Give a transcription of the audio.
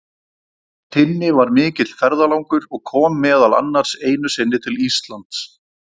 Tinni var mikill ferðalangur og kom meðal annars einu sinni til Íslands.